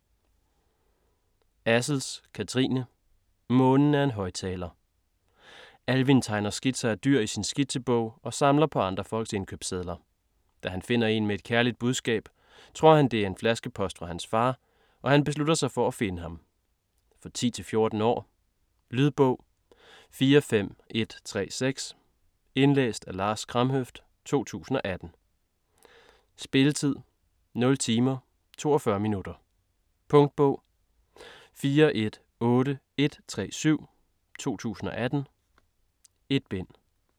Assels, Kathrine: Månen er en højttaler Alvin tegner skitser af dyr i sin skitsebog og samler på andre folks indkøbssedler. Da han finder en med et kærligt budskab, tror han det er en flaskepost fra hans far, og han beslutter sig for at finde ham. For 10-14 år. Lydbog 45136 Indlæst af Lars Kramhøft, 2018. Spilletid: 0 timer, 42 minutter. Punktbog 418137 2018. 1 bind.